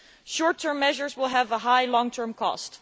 Short term measures will have a high long term cost.